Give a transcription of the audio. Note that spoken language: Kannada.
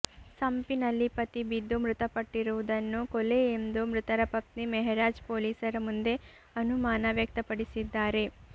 ಸಂಪಿನಲ್ಲಿ ಪತಿ ಬಿದ್ದು ಮೃತಪಟ್ಟಿರುವುದನ್ನು ಕೊಲೆ ಎಂದು ಮೃತರ ಪತ್ನಿ ಮೆಹರಾಜ್ ಪೊಲೀಸರ ಮುಂದೆ ಅನುಮಾನ ವ್ಯಕ್ತಪಡಿಸಿದ್ದಾರೆ